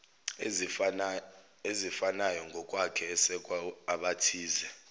ezifanayongokwakhe esekwa abathize